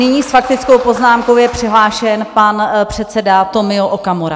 Nyní s faktickou poznámkou je přihlášen pan předseda Tomio Okamura.